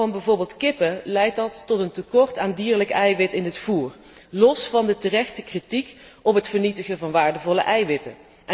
In het geval van bijvoorbeeld kippen leidt dat echter tot een tekort aan dierlijk eiwit in het voer, los van de terechte kritiek op het vernietigen van waardevolle eiwitten.